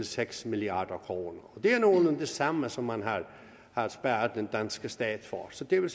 seks milliard kroner det er nogenlunde det samme som man har sparet den danske stat for så det vil